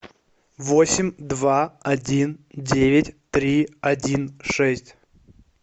восемь два один девять три один шесть